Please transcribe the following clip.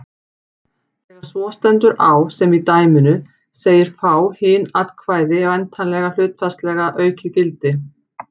Þegar svo stendur á sem í dæminu segir fá hin atkvæði væntanlega hlutfallslega aukið gildi.